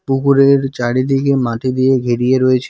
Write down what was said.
পুকুরের চারিদিকে মাটি দিয়ে ঘিরিয়ে রয়েছে।